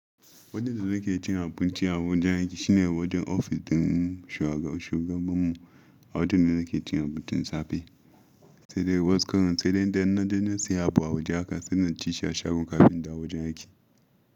Wajen da nake cin abinci a wajen aiki, shine wajen ofis ɗin shugaban mu. A wajen ne nake cin abincin safe. Sai dai wasu karomln sai dai in dai na je na siya abu a waje haka sai na ci shi a shago kafin in dawo wajen aiki.